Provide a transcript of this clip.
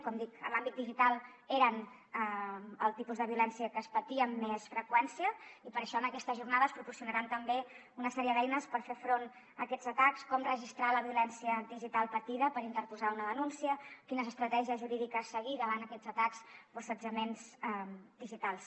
com dic en l’àmbit digital era el tipus de violència que es patia amb més freqüència i per això en aquesta jornada es proporcionaran també una sèrie d’eines per fer front a aquests atacs com registrar la violència digital patida per interposar una denúncia quines estratègies jurídiques seguir davant aquests atacs o assetjaments digitals